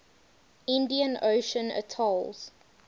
indian ocean atolls